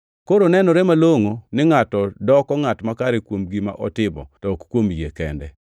Koro nenore malongʼo ni ngʼato doko ngʼat makare kuom gima otimo, to ok kuom yie kende.